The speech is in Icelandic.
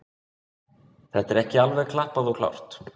Þetta er ekki alveg klappað og klárt.